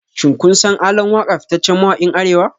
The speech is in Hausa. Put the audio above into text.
Shin kun san ALAN WAKA fitaccen mawakin Arewa?